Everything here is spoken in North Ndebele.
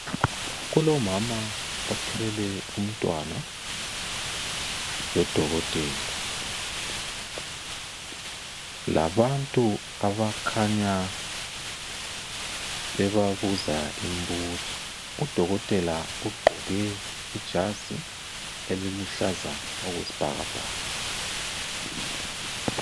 Kulomama othwele umntwana, lodokotela labantu abakhanya bebabuza imbuzo. Udokotela ugqoke ijazi eliluhlaza okwesibhakabhaka.